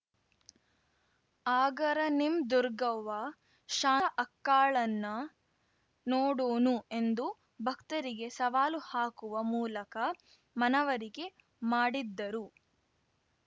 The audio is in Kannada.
ಆಗರ ನಿಮ್‌ ದುರ್ಗವ್ವ ಶಾಂತ ಅಕ್ಕಾಳನ್ನ ನೋಡೂನು ಎಂದು ಭಕ್ತರಿಗೆ ಸವಾಲು ಹಾಕುವ ಮೂಲಕ ಮನವರಿಕೆ ಮಾಡಿದ್ದರು